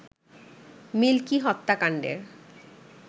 milky হত্যাকাণ্ডের